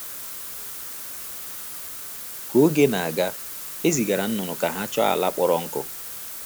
Ka oge na-aga, e zigara nnụnụ ka ha chọọ ala kpọrọ nkụ.